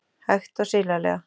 Hægt og silalega.